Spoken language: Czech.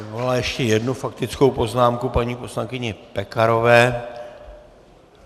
Vyvolala ještě jednu faktickou poznámku paní poslankyně Pekarové.